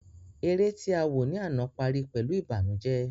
Eré tí awò ní àná parí pẹ̀lú ìbànújẹ